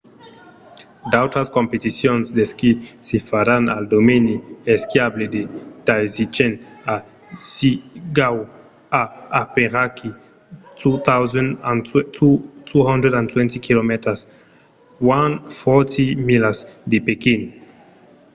d'autras competicions d'esquí se faràn al domeni esquiable de taizicheng a zhiangjakou a aperaquí 220 km 140 milas de pequín